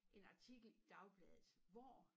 En artikel i dagbladet hvor